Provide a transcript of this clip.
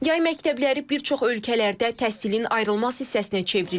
Yay məktəbləri bir çox ölkələrdə təhsilin ayrılmaz hissəsinə çevrilib.